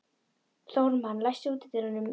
Þórmar, læstu útidyrunum.